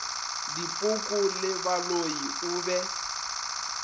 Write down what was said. dipoko le baloi o be